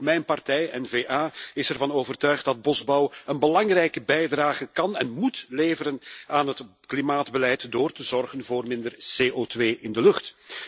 En ook mijn partij N VA is ervan overtuigd dat bosbouw een belangrijke bijdrage kan en moet leveren aan het klimaatbeleid door te zorgen voor minder CO2 in de lucht.